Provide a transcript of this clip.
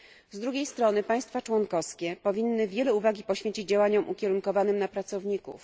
Z drugiej strony państwa członkowskie powinny wiele uwagi poświęcić działaniom ukierunkowanym na pracowników.